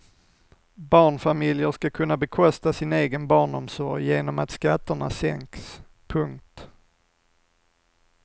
Barnfamiljer ska kunna bekosta sin egen barnomsorg genom att skatterna sänks. punkt